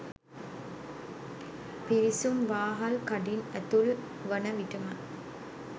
පිවිසුම් වාහල්කඩින් ඇතුල් වන විටම